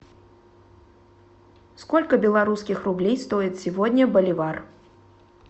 сколько белорусских рублей стоит сегодня боливар